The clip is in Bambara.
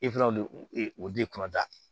E fana o de o de kunna